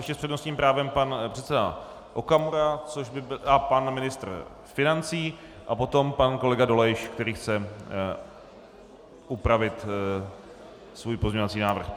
Ještě s přednostním právem pan předseda Okamura a pan ministr financí a potom pan kolega Dolejš, který chce upravit svůj pozměňovací návrh.